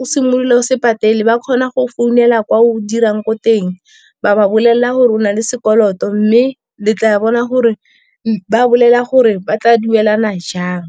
o simolola o se patele, ba kgona go founela kwa o dirang ko teng, ba ba bolelela gore o na le sekoloto, mme le tla bona gore ba bolela gore ba tla duelana jang.